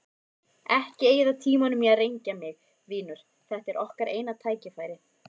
Ekki eyða tímanum í að rengja mig, vinur, þetta er okkar eina tækifærið.